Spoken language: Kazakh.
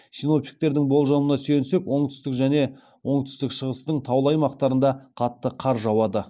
синоптиктердің болжамына сүйенсек оңтүстік және оңтүстік шығыстың таулы аймақтарында қатты қар жауады